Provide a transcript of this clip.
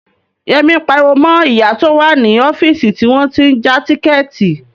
Yẹmí ń pariwo mọ ìyá tó wà ní ọ́fíìsì tí wọ́n tí ń ja tíkẹ̀ẹ̀tì